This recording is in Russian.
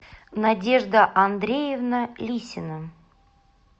надежда андреевна лисина